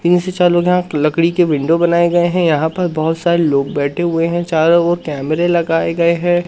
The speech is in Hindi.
तीन से चार लोग यहां लकड़ी के विंडो बनाए गए हैं यहां पर बहोत सारे लोग बैठे हुए हैं चारों ओर कैमरे लगाए गए हैं।